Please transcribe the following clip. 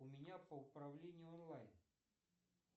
у меня по управлению онлайн